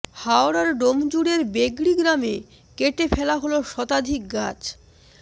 হাওড়ার ডোমজুড়ের বেগড়ি গ্রামে কেটে ফেলা হল শতাধিক গাছ